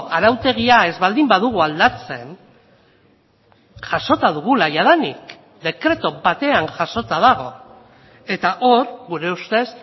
arautegia ez baldin badugu aldatzen jasota dugula jadanik dekretu batean jasota dago eta hor gure ustez